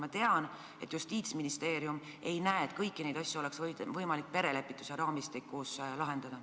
Ma tean, et Justiitsministeerium ei näe, et kõiki neid asju oleks võimalik perelepituse raamistikus lahendada.